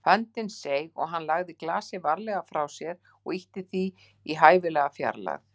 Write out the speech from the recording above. Höndin seig og hann lagði glasið varlega frá sér og ýtti því í hæfilega fjarlægð.